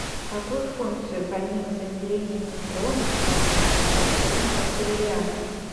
какую функцию помимо замедления нейтронов выполняет вода в первом контуре реактора